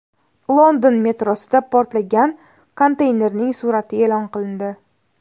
London metrosida portlagan konteynerning surati e’lon qilindi.